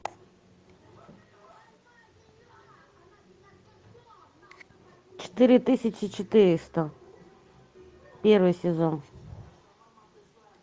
четыре тысячи четыреста первый сезон